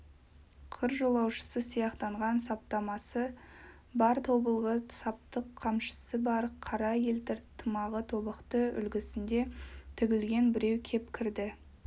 қыр жолаушысы сияқтанған саптамасы бар тобылғы сапты қамшысы бар қара елтір тымағы тобықты үлгісінде тігілген біреу кеп кірді